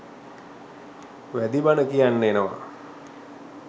වැදී බන කියන්න එනව.